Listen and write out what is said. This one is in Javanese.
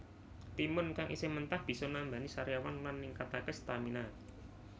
Timun kang isih mentah bisa nambani sariawan lan ningkataké stamina